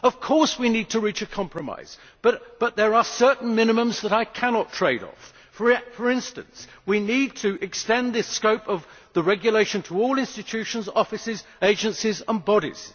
Of course we need to reach a compromise, but there are certain minimums that I cannot trade off. For instance, we need to extend the scope of the regulation to all institutions, offices, agencies and bodies.